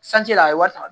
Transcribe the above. Sanji la a ye wari ta